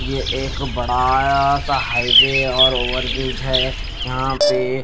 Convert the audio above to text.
ये एक बड़ा सा हाईवे और ओवर ब्रिज है यहां पे--